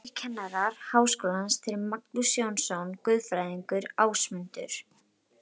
Þrír kennarar Háskólans, þeir Magnús Jónsson guðfræðingur, Ásmundur